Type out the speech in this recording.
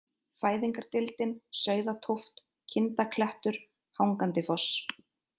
Fæðingardeildin, Sauðatóft, Kindaklettur, Hangandifoss